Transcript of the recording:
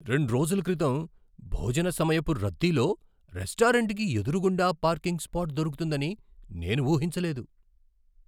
రెండ్రోజుల క్రితం, భోజన సమయపు రద్దీలో రెస్టారెంట్కి ఎదురుగుండా పార్కింగ్ స్పాట్ దొరుకుతుందని నేను ఊహించలేదు.